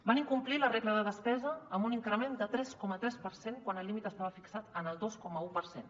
van incomplir la regla de despesa amb un increment del tres coma tres per cent quan el límit estava fixat en el dos coma un per cent